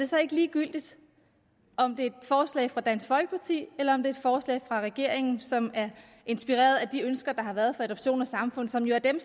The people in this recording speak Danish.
så ikke ligegyldigt om det er et forslag fra dansk folkeparti eller om det er et forslag fra regeringen som er inspireret af de ønsker der har været fra adoption og samfund som jo er dem